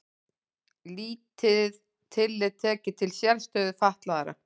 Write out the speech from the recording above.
Lítið tillit tekið til sérstöðu fatlaðra